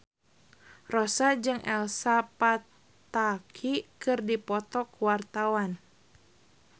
Rossa jeung Elsa Pataky keur dipoto ku wartawan